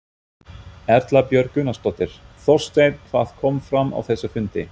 Erla Björg Gunnarsdóttir: Þorsteinn hvað kom fram á þessum fundi?